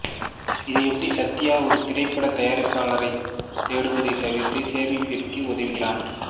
இதையொட்டி சத்யா ஒரு திரைப்படத் தயாரிப்பாளரைத் தேடுவதைத் தவிர்த்து சோபியாவிற்கு உதவுகிறான்